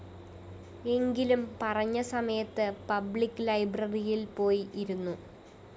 എങ്കിലും പറഞ്ഞ സമയത്ത് പബ്ലിക്‌ ലൈബ്രറിയില്‍ പോയി ഇരുന്നു